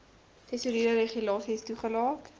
tesourie regulasies toegelaat